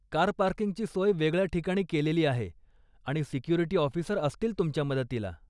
Car पार्किंगची सोय वेगळ्या ठिकाणी केलेली आहे आणि सिक्युरिटी ऑफिसर असतील तुमच्या मदतीला.